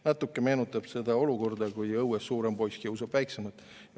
Natuke meenutab see olukorda, kui õues suurem poiss kiusab väiksemat.